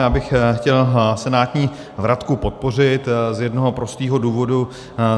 Já bych chtěl senátní vratku podpořit z jednoho prostého důvodu.